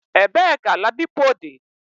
Ebe ka ladipo di?